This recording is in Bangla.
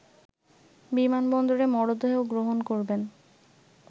বিমানবন্দরে মরদেহ গ্রহণ করবেন